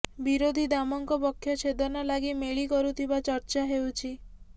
ବିରୋଧୀ ଦାମଙ୍କ ପକ୍ଷ ଚ୍ଛେଦନ ଲାଗି ମେଳି କରୁଥିବା ଚର୍ଚ୍ଚା ହେଉଛି